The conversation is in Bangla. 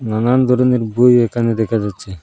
নানান ধরনের বই এখানে দেখা যাচ্ছে।